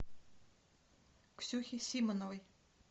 ксюхе симановой